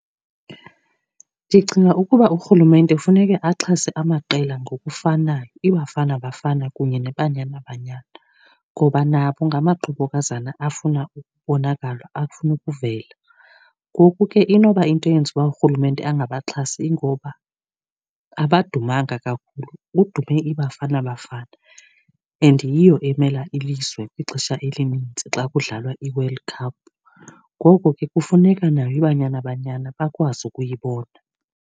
Ndicinga ukuba urhulumente funeke axhase amaqela ngokufanayo. iBafana Bafana kunye neBanyana Banyana. Ngoba nabo ngamaqobokazana afuna ukubonakala, afuna ukuvela. Ngoku ke inoba into eyenza uba urhulumente angabaxhasi yingoba abadumanga kakhulu, kudume iBafana Bafana and yiyo emela ilizwe kwixesha elininzi xa kudlalwa iWorld Cup. Ngoko ke kufuneka nayo iBanyana Banyana bakwazi ukuyibona.